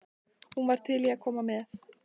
Hún var til í að koma með.